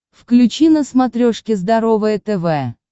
включи на смотрешке здоровое тв